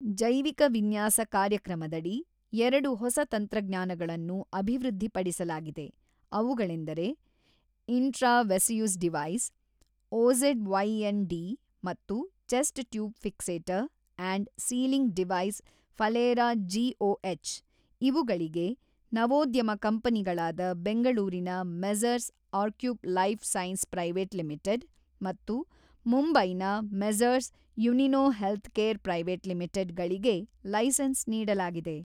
ಜೈವಿಕ ವಿನ್ಯಾಸ ಕಾರ್ಯಕ್ರಮದಡಿ ಎರಡು ಹೊಸ ತಂತ್ರಜ್ಞಾನಗಳನ್ನು ಅಭಿವೃದ್ಧಿಪಡಿಸಲಾಗಿದೆ ಅವುಗಳೆಂದರೆ ಇಂಟ್ರಾ ವಸೆಯುಸ್ಡಿವೈಸ್ ಓಝೆಡ್ ವೈಎನ್ ಡಿ ಮತ್ತು chest tube fixator and sealing device ಫಲೇರಾಜಿಒಎಚ್ ಇವುಗಳಿಗೆ ನವೋದ್ಯಮ ಕಂಪನಿಗಳಾದ ಬೆಂಗಳೂರಿನ ಮೆಸರ್ಸ್ ಆರ್ಕ್ಯೂಪ್ ಲೈಫ್ ಸೈನ್ಸ್ ಪ್ರೈವೇಟ್ ಲಿಮಿಟೆಡ್ ಮತ್ತು ಮುಂಬೈನ ಮೆಸರ್ಸ್ ಯುನಿನೊ ಹೆಲ್ತ್ ಕೇರ್ ಪ್ರೈವೇಟ್ ಲಿಮಿಟೆಡ್ ಗಳಿಗೆ ಲೈಸೆನ್ಸ್ ನೀಡಲಾಗಿದೆ.